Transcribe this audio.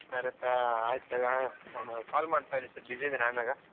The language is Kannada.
ಸರಿ ತಗ ಆಯ್ತು ತಗ ನಾನ್ call ಮಾಡ್ತೀನಿ ಸ್ವಲ್ಪ busy ಇದೀನಿ ಆಮ್ಯಾಗ.